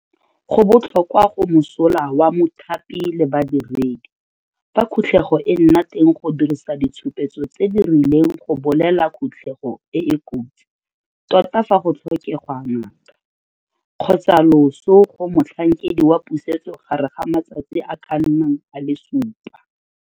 Go botlhokwa go mosola wa mothapi le badiredi, fa khutlego e nna teng go dirisa ditshupetso tse di rileng go bolela khutlego e e kotsi tota fa go tlhokegwa ngaka kgotsa loso go Motlhankedi wa Pusetso gare ga matsatsi a a ka nnang a le supa.